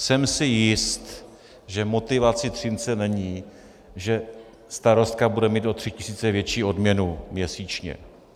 Jsem si jist, že motivací Třince není, že starostka bude mít o tři tisíce větší odměnu měsíčně.